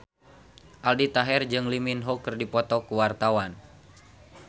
Aldi Taher jeung Lee Min Ho keur dipoto ku wartawan